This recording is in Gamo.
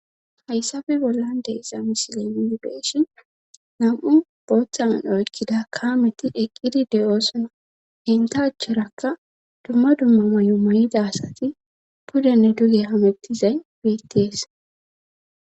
Hayssafe bollan deeiza misilemii beeshin nam7u booththaan oykkida kaameti eqqidi de7oosona henta acherakka dumma dumma may7o may7ida asati pudenne duge hamettizay beetties